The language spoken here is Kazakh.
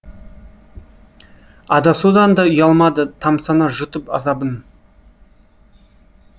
адасудан да ұялмады тамсана жұтып азабын